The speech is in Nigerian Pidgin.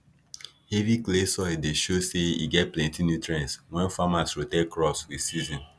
heavy clay soil dey show say e get plenty nutrients when farmers rotate crops with season